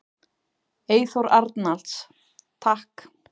Eyþór Arnalds: Takk.